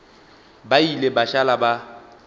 ba ile ba šala ba